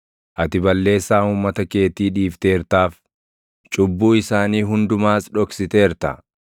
Ati balleessaa uummata keetii dhiifteertaaf; cubbuu isaanii hundumaas dhoksiteerta.